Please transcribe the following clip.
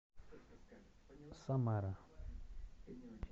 самара